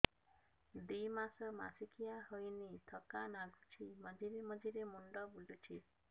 ଦୁଇ ମାସ ମାସିକିଆ ହେଇନି ଥକା ଲାଗୁଚି ମଝିରେ ମଝିରେ ମୁଣ୍ଡ ବୁଲୁଛି